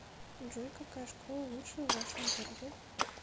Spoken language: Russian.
джой какая школа лучшая в вашем городе